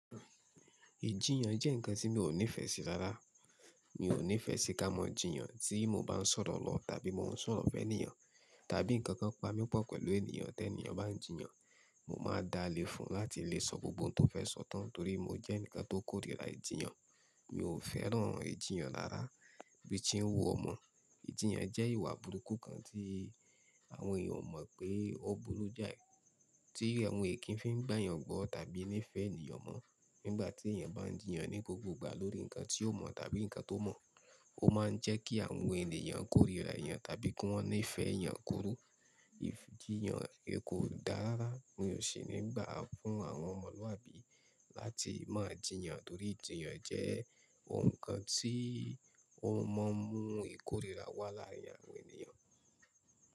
Ìjiyàn jẹ́ nǹkan tí mi ò nífẹ̀ẹ́ sí rárá. Mi ò nífẹ̀ẹ́ sí ká mọ̀ jíyàn tí mo bá ń sọ̀rọ̀ lọ tàbí mo ń sọ̀rọ̀ fẹ́ níyàn, tàbí nǹkan kan pa mí pọ̀ pẹ̀lú ènìyàn tẹ́ ènìyàn bá ń jìyàn. Mo máa dáa lé fún láti lè sọ gbogbo nǹkan tó fẹ́ sọ tán torí mo jẹ́ nǹkan tó kórìíra ìjiyàn. Mi ò fẹ́ràn ìjiyàn rárá bí i tí n wu ò mọ. Ìjiyàn jẹ́ ìwà burúkú kan tí àwọn èèyàn o mọ̀ pé ó burú jáì, tí àwọn èkín fi ń gbà yàn gbọ́ tàbí nífẹ̀ẹ́ ènìyàn mọ́. Nígbà tí èèyàn bá ń jìyàn ní gbogbo ìgbà lórí nǹkan tí ó mọ̀ tàbí nǹkan tó mọ̀, ó máa ń jẹ́ kí àwọn ènìyàn kórìíra ènìyàn tàbí kí wọ́n nífẹ̀ẹ́ ènìyàn kúrú. Ìjiyàn kò dárara, mi ò sì ní gbà fún àwọn ọmọlúàbí láti máa jìyàn torí ìjiyàn jẹ́ nǹkan tí ó mọ mú ìkórìíra wá láàrin àwọn ènìyàn.